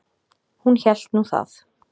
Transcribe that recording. Hún hélt nú það.